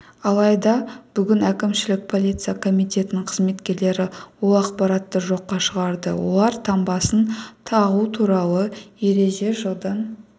алайда бүгін әкімшілік полиция комитетінің қызметкерлері ол ақпаратты жоққа шығарды олар таңбасын тағу туралы ереже жылдан